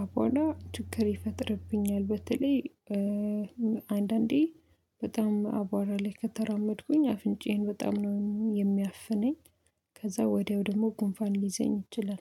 አቧራ ችግር ይፈጥርብኛል። በተለይ አንዳንዴ በጣም አቧራ ላይ ከተራመድኩኝ አፍንጫዬን በጣም ነው የሚያፍነኝ ከዛ ወዲያው ደግሞ ጉንፋን ሊይዘኝ ይችላል።